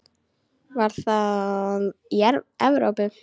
Var það í Evrópu?